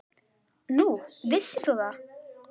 Nú, vissir þú það?